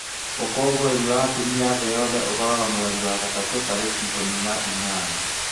ũkũngũĩri wa atumia thĩĩ yothe ũkoragwo mweri wa gatatũ tariki ikũmi na inyanya